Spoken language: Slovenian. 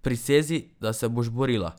Prisezi, da se boš borila.